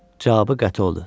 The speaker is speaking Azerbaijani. Cavabı qəti oldu.